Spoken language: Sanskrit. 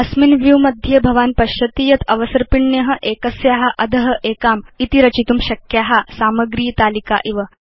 अस्मिन् व्यू मध्ये भवान् पश्यति यत् अवसर्पिण्य एकस्या अध एकामिति रचितुं शक्या सामग्रीतालिका इव